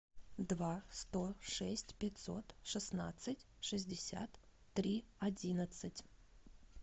два сто шесть пятьсот шестнадцать шестьдесят три одиннадцать